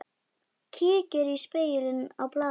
Kíkir í spegil á baðinu.